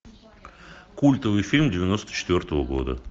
культовый фильм девяносто четвертого года